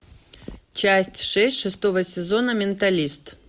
часть шесть шестого сезона менталист